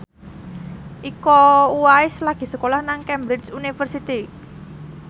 Iko Uwais lagi sekolah nang Cambridge University